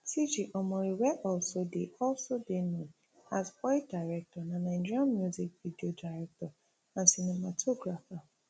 tg omori wey also dey also dey known as boy director na nigerian music video director and cinematographer